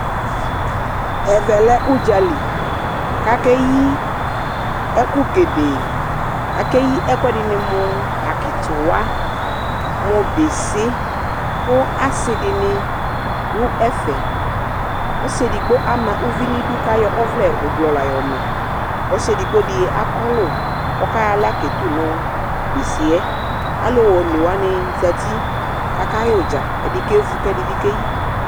Ɛvɛ le udzaliKakeyi ɛkʋ gɛdɛɛAkeyi ɛkʋ ɛdini muuu:Akitiwa, mu bisi, kʋ asidini dʋ ɛfɛƆsi edigbo ama uvi nidu kʋ ayɔ ɔvlɛ ublɔ lã yɔmaƆsi edigbo di akɔlu, kʋ ɔkayɔ aɣla Ketu nʋ bisi yɛAlu o ewani zati kakayɛ udzaƐdi kevu, kʋ ɛdi keyi